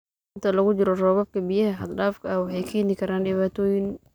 Inta lagu jiro roobabka, biyaha xad-dhaafka ah waxay keeni karaan dhibaatooyin.